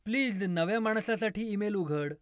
Please नव्या माणसासाठी email उघड.